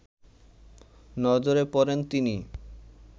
নজরে পড়েন তিনি